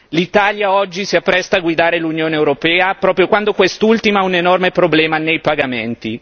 L'Italia oggi si appresta a guidare l'Unione europea proprio quando quest'ultima ha un enorme problema nei pagamenti.